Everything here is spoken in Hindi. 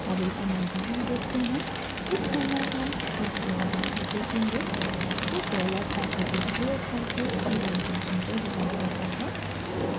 अब एक अन्य उदाहरण देखते हैं इस समय हम एक एरर मैसेज देखेंगे जो $@ डॉलर एट द रेट प्रयोग करके eval फंक्शन से रिटर्न होता है